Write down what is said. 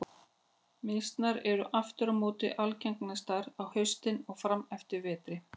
Mýsnar eru aftur á móti algengastar á haustin og fram eftir vetri.